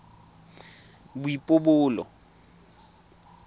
boipobolo